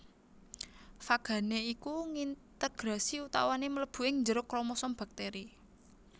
Fagané iku ngintegrasi utawané mlebu ing njero kromosom baktèri